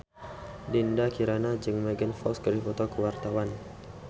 Dinda Kirana jeung Megan Fox keur dipoto ku wartawan